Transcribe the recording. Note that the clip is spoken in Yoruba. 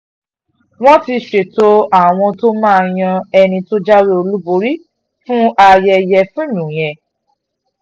wọ́n um ti ṣètò àwọn tó máa yan ẹni um tó jáwé olúborí fún ayẹyẹ fíìmù yẹn